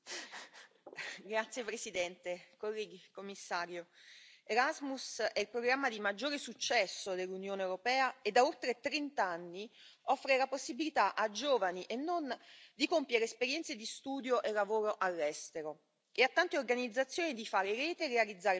Signora Presidente, onorevoli colleghi, Commissario, l'Erasmus è il programma di maggiore successo dell'Unione europea e, da oltre trent'anni, offre la possibilità, a giovani e non, di compiere esperienze di studio e lavoro all'estero e a tante organizzazioni di fare rete e di realizzare progetti.